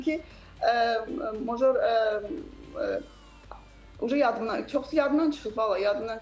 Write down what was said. Amma deyə bilərəm ki, Moco yadından çox yadımdan çıxıb vallah, yadımdan çıxıb.